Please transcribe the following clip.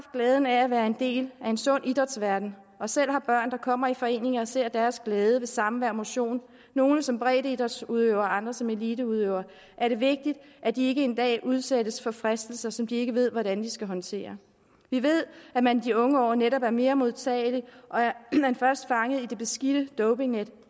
glæden af at være en del af en sund idrætsverden og selv har børn der kommer i foreninger og ser deres glæde ved samvær og motion nogle som breddeidrætsudøvere andre som eliteudøvere er det vigtigt at de ikke en dag udsættes for fristelser som de ikke ved hvordan de skal håndtere vi ved at man i de unge år netop er mere modtagelig og er man først fanget i det beskidte dopingnet